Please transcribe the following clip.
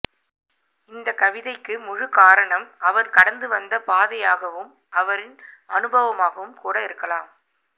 இந்த கவிதைக்கு முழு காரணம் அவர் கடந்து வந்த பாதையாகவும் அவரின் அனுபவமாகவும் கூட இருக்கலாம